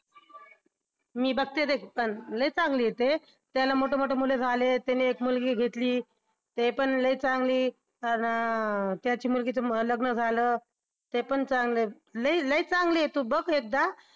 मी बघते लई चांगलं आहे ते त्यांना मोठे मोठे मुले झाले त्यांनी एक मुलगी घेतली. ते पण लई चांगली अन त्याची मुलगीचं लग्न झालं ते पण चांगलं आहे. लई लई चांगली आहे तू बघ एकदा